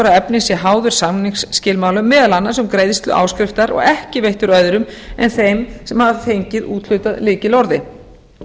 efni sé háður samningsskilmálum meðal annars um greiðslu áskriftar og ekki veittur öðrum en þeim sem hafa fengið úthlutað lykilorði